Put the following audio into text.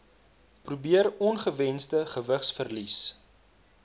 probeer ongewensde gewigsverlies